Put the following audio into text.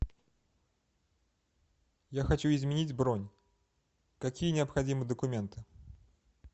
я хочу изменить бронь какие необходимы документы